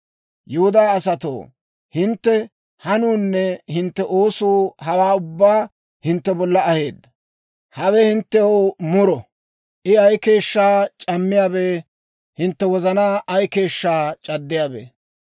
Yihudaa asatoo, Hintte hanuunne hintte oosuu hawaa ubbaa hintte bolla aheedda. Hawe hinttew muro. I ay keeshshaa c'ammiyaabee! Hintte wozanaa ay keeshshaa c'addiyaabee!